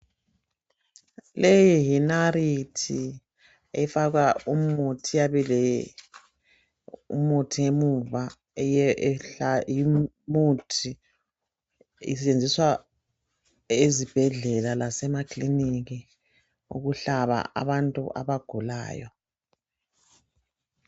leyi yi narithi efakwa umuthi iyabe ilemuthi emuva isetshenziswa ezibhedlela lasema kiliniki ukuhlaba abantu abagulayo